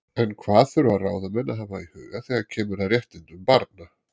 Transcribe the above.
En hvað þurfa ráðamenn að hafa í huga þegar kemur að réttindum barna?